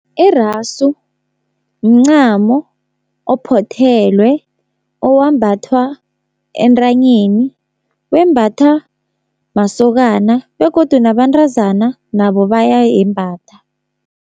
Irasu, mncamo ophothelwe owambathwa entanyeni, wembatha masokana begodu nabantazana nabo bayayembatha.